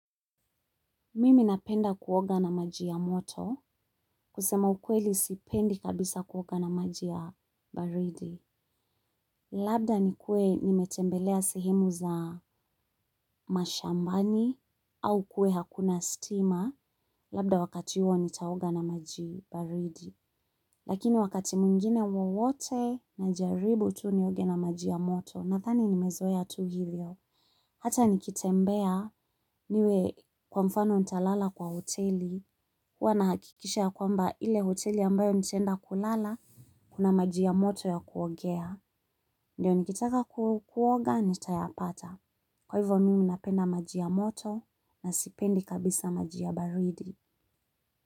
Mimi napenda kuoga na maji ya moto, kusema ukweli sipendi kabisa kuoga na maji ya baridi. Labda nikue nimetembelea sehemu za mashambani, au kuwe hakuna stima, labda wakati huo nitaoga na maji baridi. Lakini wakati mwengine wowote najaribu tu nioge na maji ya moto, nadhani nimezoea tu hivyo. Hata nikitembea niwe kwa mfano nitalala kwa hoteli. Huwa nahakikisha kwamba ile hoteli ambayo nitaenda kulala, kuna maji ya moto ya kuogea. Ndiyo nikitaka kuoga, nitayapata. Kwa hivyo mimi napenda maji ya moto na sipendi kabisa maji ya baridi.